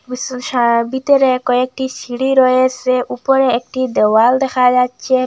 বিতরে কয়েকটি সিঁড়ি রয়েসে উপরে একটি দেওয়াল দেখা যাচ্ছে।